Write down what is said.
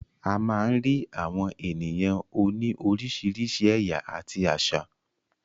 A má ń rí àwọn ènìyàn òní oríṣiríṣi ẹ̀yà àti àṣà.